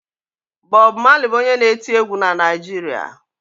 Bọb Malị bụ onye na-eti egwu na Naịjirịa.